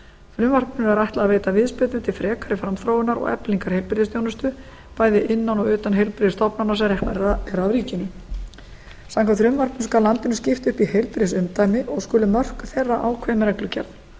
frumvarpinu er ætlað að veita viðspyrnu til frekari framþróunar og eflingar heilbrigðisþjónustu bæði innan og utan heilbrigðisstofnana sem reknar eru af ríkinu samkvæmt frumvarpinu skal landinu skipt upp í heilbrigðisumdæmi og skulu mörk þeirra ákveðin með reglugerð